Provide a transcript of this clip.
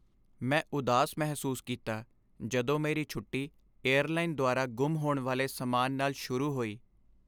ਮੈਂ ਉਦਾਸ ਮਹਿਸੂਸ ਕੀਤਾ ਜਦੋਂ ਮੇਰੀ ਛੁੱਟੀ ਏਅਰਲਾਈਨ ਦੁਆਰਾ ਗੁੰਮ ਹੋਣ ਵਾਲੇ ਸਮਾਨ ਨਾਲ ਸ਼ੁਰੂ ਹੋਈ।